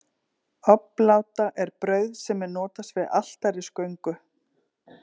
Obláta er brauð sem er notað við altarisgöngu.